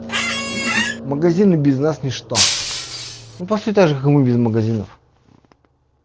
магазины без нас ничто ну почти также как мы без магазинов